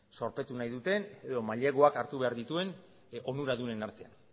zorpetu nahi duten edo maileguak hartu behar dituen onuradunen artean